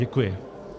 Děkuji.